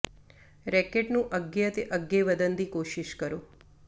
racket ਨੂੰ ਅੱਗੇ ਅਤੇ ਅੱਗੇ ਵਧਣ ਦੀ ਕੋਸ਼ਿਸ਼ ਕਰੋ